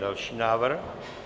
Další návrh?